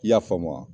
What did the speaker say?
I y'a faamu wa